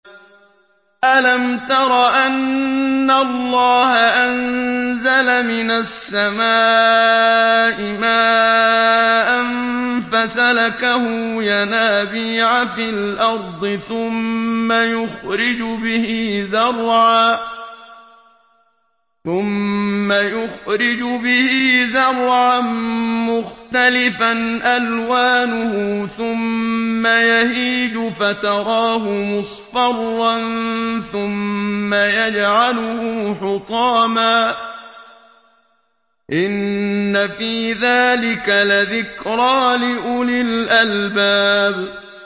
أَلَمْ تَرَ أَنَّ اللَّهَ أَنزَلَ مِنَ السَّمَاءِ مَاءً فَسَلَكَهُ يَنَابِيعَ فِي الْأَرْضِ ثُمَّ يُخْرِجُ بِهِ زَرْعًا مُّخْتَلِفًا أَلْوَانُهُ ثُمَّ يَهِيجُ فَتَرَاهُ مُصْفَرًّا ثُمَّ يَجْعَلُهُ حُطَامًا ۚ إِنَّ فِي ذَٰلِكَ لَذِكْرَىٰ لِأُولِي الْأَلْبَابِ